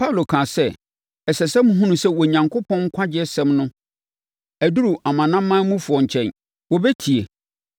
Paulo kaa sɛ, “Ɛsɛ sɛ mohunu sɛ Onyankopɔn nkwagyesɛm no aduru amanamanmufoɔ no nkyɛn. Wɔbɛtie!”